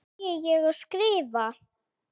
Segi ég og skrifa.